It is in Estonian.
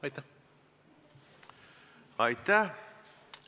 Aitäh!